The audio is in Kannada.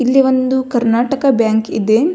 ಇಲ್ಲಿ ಒಂದು ಕಾರ್ಣಾಟಕ ಬ್ಯಾಂಕ್ ಇದೆ.